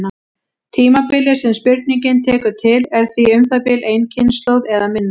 Tímabilið sem spurningin tekur til er því um það bil ein kynslóð eða minna.